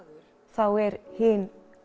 þá er hin